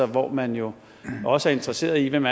hvor man jo også er interesseret i hvem